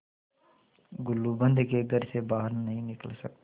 गुलूबंद के घर से बाहर नहीं निकल सकते